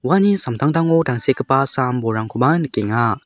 uani samtangtango tangsekgipa sam-bolrangkoba nikenga.